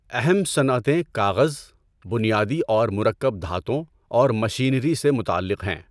اہم صنعتیں کاغذ، بنیادی اور مرکب دھاتوں اور مشینری سے متعلق ہیں۔